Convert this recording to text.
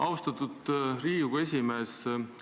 Austatud Riigikogu esimees!